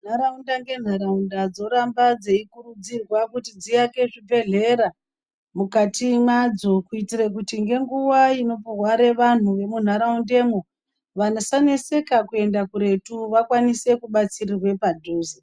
Ntharaunda ngentharaunda dzoramba dzeikurudzirwa kuti dziake zvibhedhlera mukati mwadzo kuitira kuti ngenguwa inorware vanthu vemunharaundemwo vm vasaneseka kuenda kuretu vakwanise kubatsirwa padhuze.